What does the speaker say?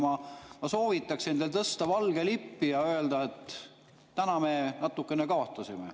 Ma soovitaks teil tõsta valge lipp ja öelda, et täna me natukene kaotasime.